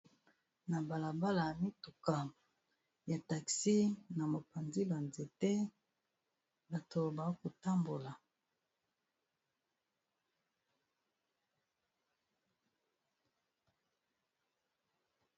Na bala bala mituka ya taxi na mopanzi ba nzete, bato ba kotambola.